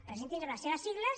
presentin se amb les seves sigles